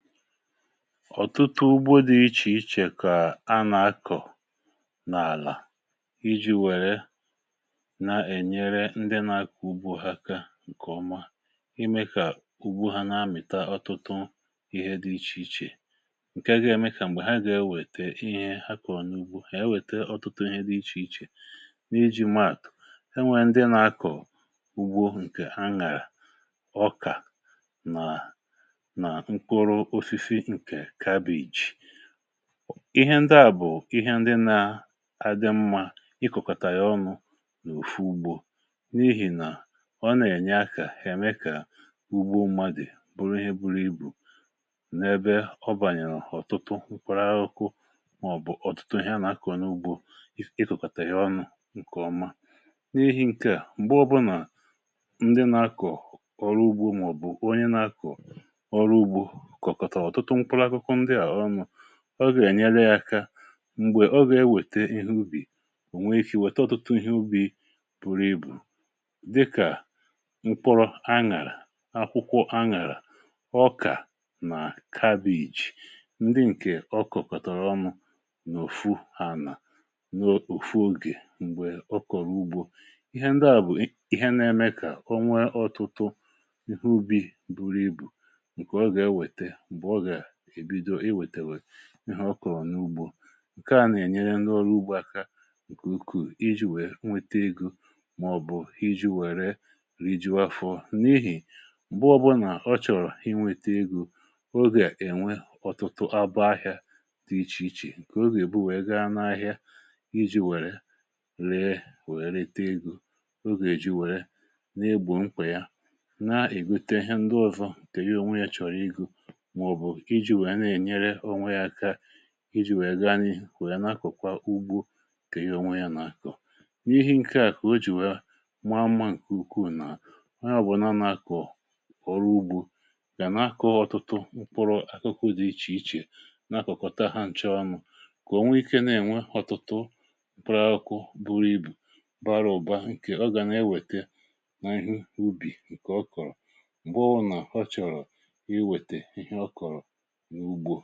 ọ̀tụtụ ugbò dị iche iche kà a nà-akọ̀ n’àlà iji̇ wère na-ènyere ndị nà-akọ̀ ugbò aka, ǹkè ọma ime kà ugbò ha nà-amị̀ta ọtụtụ ihe dị iche iche ǹkè a gà-ème kà m̀gbè ha gà-enwètee ihe ha kọ̀rọ̀ n’ugbò ha wète ọtụtụ ihe dị iche iche n’iji̇. Mààt enwèrè ndị nà-akọ̀ ugbò ǹkè aṅàrà, ọkà nà ihe ndị à bụ̀ ihe ndị na-adị mmà ịkọ̀kọ̀tà yȧ ọnụ̇ n’òfù ugbò, n’ihì nà ọ nà-ènye akà hà, me kà ugbò mmadụ̀ bụrụ ihe bụrụ ibù n’ebe ọ bànyèrè ọ̀tụtụ ukwara, àhụ̇kụ̇ màọ̀bụ̀ ọ̀tụtụ ihe a nà-akọ̀ n’ugbò. Ịkọ̀kọ̀tà yȧ ọnụ̇ bụ ǹkè ọma, n’ihì ǹkeà m̀gbọ bụ nà ndị nà-akọ̀ ọrụ ugbò, màọ̀bụ̀ onye nà-akọ̀ ọrụ ugbò, ọ gà-ènyere ya aka m̀gbè ọ gà-ewète ihe ubì ònwe, ikì wèta ọtụtụ ihe ubì buru ibù, dịkà mkpụrụ aṅàrà, akwụkwọ aṅàrà, ọkà nà cabbage, ndị ǹkè ọkụ̀ kọ̀tọ̀rọ̀ ọnụ̇ n’ụ̀fụ. A nà n’ụ̀fụ ogè m̀gbè ọ kọ̀rọ̀ ugbò, ihe ndị à bụ̀ ihe na-eme kà o nwe ọtụtụ ihe ubì buru ibù, ihe ọkụ̀ n’ugbò ǹke à nà-ènyere ndị ọrụ ugbò aka ǹkè ukwuù iji̇ wèe nwete igù màọ̀bụ̀ iji̇ wère rijuo afọ. N’ihì m̀bụọ bụ nà ọ chọ̀rọ̀ inwėtė egò, ogè ènwe ọ̀tụtụ abụ, ahịȧ tụ̀rụ̀ iche iche, ǹkè ogè èbù wèe gaa n’ahịa iji̇ wère ree, wère tee egò. Ogè eji wère n’egbò mkpè ya na-ègute ndị́ ọ̀zọ, tèye onwe ya chọ̀rọ̀ igù iji̇ nwè ya, na-ènyere onwe yȧ aka iji̇ nwè ya gaa n’ihì nwè ya. N’àkọkwa ugbu, kà ihe onwe yȧ nà-akọ̀, n’ihe nke à kà o jì nwa mmà, ǹkè ukwuù nà iyọ̇ bụ̀ nà nà-akọ̀ kọ̀rọ̀ ugbu, kà n’akọ ọtụtụ mkpụrụ akụkụ dị iche iche, n’akọ̀kọ̀ ta ha ǹchọọnụ kà onwe ike na-ènwe ọtụtụ mkpụrụ akụ buru ibù, bara ụ̀ba. ǹkè ọ gà na-ewète n’ihe ubì, ǹkè ọ kọ̀rọ̀, m̀gbọ bụ nà ọ chọ̀rọ̀ ihe, wète ihe ọ kọ̀rọ̀, ǹgwù.